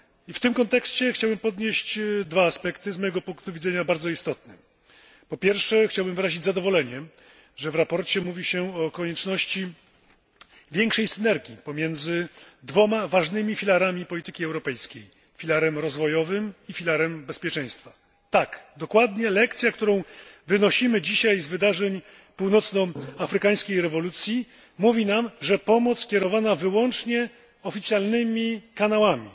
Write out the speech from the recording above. W tym kontekście chciałbym poruszyć dwa aspekty, z mojego punktu widzenia bardzo istotne. Po pierwsze, chciałbym wyrazić zadowolenie, że w sprawozdaniu mówi się o konieczności większej synergii pomiędzy dwoma ważnymi filarami polityki europejskiej filarem rozwojowym i filarem bezpieczeństwa. Lekcja, którą wynosimy dzisiaj z wydarzeń północnoafrykańskiej rewolucji mówi nam, że pomoc kierowana wyłącznie oficjalnymi kanałami,